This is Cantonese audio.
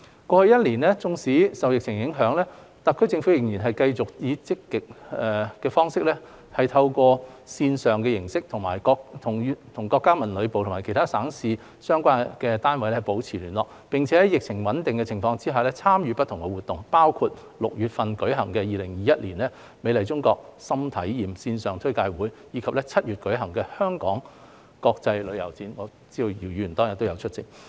過去一年多，縱使受疫情影響，特區政府仍然繼續積極以線上形式與國家文旅部及其他省市的相關單位保持聯繫，並在疫情穩定的情況下參與不同活動，包括於6月舉行的 2021" 美麗中國.心睇驗"線上推介會，以及於7月舉行的香港國際旅遊展等，我知道姚議員當天也有出席。